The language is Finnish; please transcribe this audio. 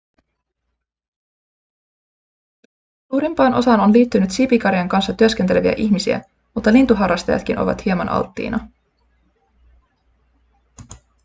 suurimpaan osaan on liittynyt siipikarjan kanssa työskenteleviä ihmisiä mutta lintuharrastajatkin ovat hieman alttiina